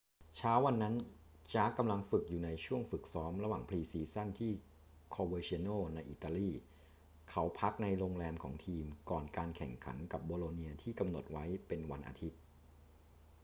เช้าวันนั้น jarque กำลังฝึกอยู่ในช่วงฝึกซ้อมระหว่างพรีซีซั่นที่ coverciano ในอิตาลี เขาพักในโรงแรมของทีมก่อนการแข่งขันกับโบโลเนียที่กำหนดไว้เป็นวันอาทิตย์